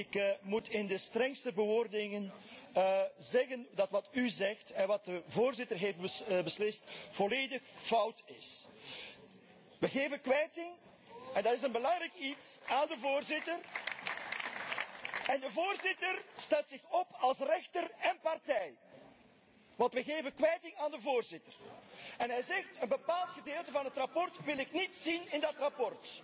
Ik moet in de strengste bewoordingen zeggen dat wat u zegt en wat de Voorzitter heeft beslist volledig fout is. We geven kwijting en dat is een belangrijk iets aan de Voorzitter en de Voorzitter stelt zich op als rechter en partij. We geven kwijting aan de Voorzitter en hij zegt een bepaald gedeelte van het verslag wil ik niet zien in dat verslag.